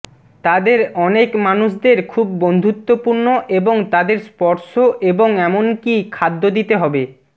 তাদের অনেক মানুষদের খুব বন্ধুত্বপূর্ণ এবং তাদের স্পর্শ এবং এমনকি খাদ্য দিতে হবে